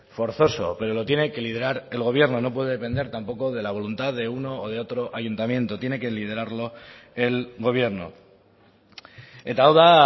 forzoso pero lo tiene que liderar el gobierno no puede depender tampoco de la voluntad de uno o de otro ayuntamiento tiene que liderarlo el gobierno eta hau da